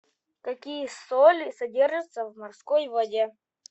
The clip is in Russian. какие соли содержатся в морской воде